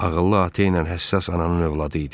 Ağıllı ata ilə həssas ananın övladı idi.